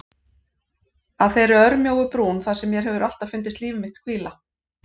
Að þeirri örmjóu brún þar sem mér hefur alltaf fundist líf mitt hvíla.